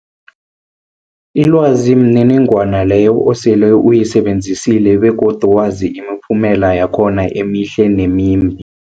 Ilwazi mniningwana leyo osele uyisebenzisile begodu wazi imiphumela yakhona emihle nemimbi.